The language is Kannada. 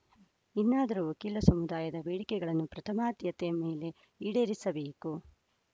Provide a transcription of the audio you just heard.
ಇನ್ನಾದರೂ ವಕೀಲ ಸಮುದಾಯದ ಬೇಡಿಕೆಗಳನ್ನು ಪ್ರಥಮಾದ್ಯತೆ ಮೇಲೆ ಈಡೇರಿಸಬೇಕು